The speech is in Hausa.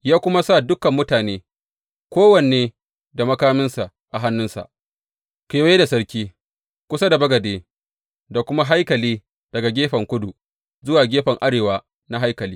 Ya kuma sa dukan mutane, kowanne da makaminsa a hannunsa, kewaye da sarki, kusa da bagade da kuma haikali, daga gefen kudu zuwa gefen arewa na haikali.